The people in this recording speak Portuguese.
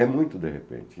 É muito de repente.